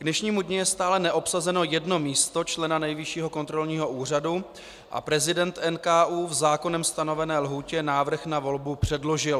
K dnešnímu dni je stále neobsazeno jedno místo člena Nejvyššího kontrolního úřadu a prezident NKÚ v zákonem stanovené lhůtě návrh na volbu předložil.